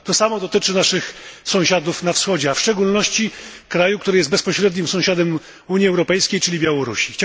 To samo dotyczy naszych sąsiadów na wschodzie, a w szczególności kraju, który jest bezpośrednim sąsiadem Unii Europejskiej Białorusi.